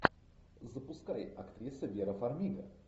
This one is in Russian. запускай актриса вера фармига